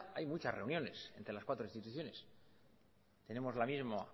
hay muchas reuniones entre las cuatro instituciones tenemos la misma